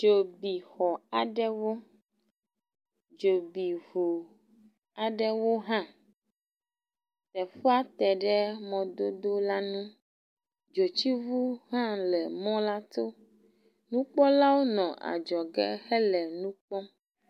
Dzo bi xɔ aɖewo, dzo bi ŋu aɖewo hã. Teƒea te ɖe mɔdodo la ŋu. Dzotsiŋu hã le mɔ la to. Nukpɔlawo le adzɔge hele nu kpɔm.